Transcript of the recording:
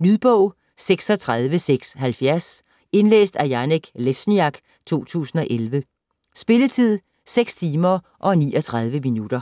Lydbog 36670 Indlæst af Janek Lesniak, 2011. Spilletid: 6 timer, 39 minutter.